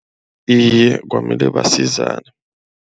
Iye kwamele basizane.